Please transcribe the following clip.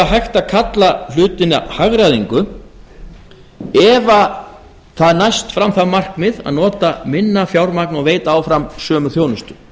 að kalla hlutina hagræðingu ef það næst fram það markmið að nota minna fjármagn og veita áfram sömu þjónustu